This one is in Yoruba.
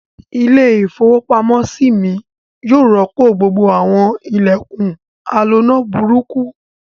Ilé-ìfowópamọ́sí mi yóò rọ́pò gbogbo àwọn ilẹ̀kùn aloná burúkú.